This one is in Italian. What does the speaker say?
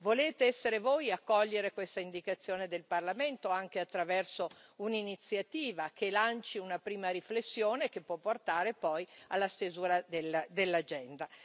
Volete essere voi a cogliere questa indicazione del Parlamento, anche attraverso un'iniziativa che lanci una prima riflessione che può portare poi alla stesura dell'agenda.